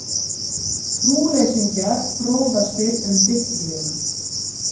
Trúleysingjar fróðastir um Biblíuna